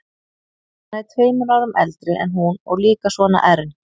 Hann er tveimur árum eldri en hún og líka svona ern.